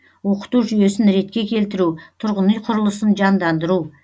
оқыту жүйесін ретке келтіру тұрғын үй құрылысын жандандыру